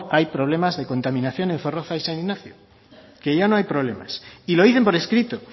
hay problemas de contaminación en zorroza y san ignacio que ya no hay problemas y lo dicen por escrito